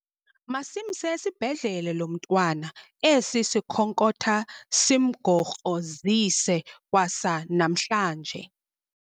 Masimse esibhedlele lo mntwana esi sikhonkotha simgokrozise kwasa namhlanje.